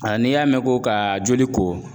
A n'i y'a mɛn ko ka joli ko